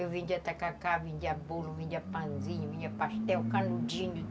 Eu vendia tacacá, vendia bolo, vendia pãozinho, vendia pastel, canudinho.